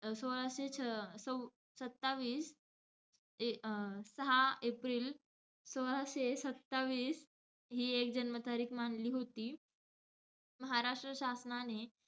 सोळाशे अं स~ सत्तावीस ते अं सहा एप्रिल सोळाशे सत्तावीस हि एक जन्म तारीख मानली होती. महाराष्ट्र शासनाने,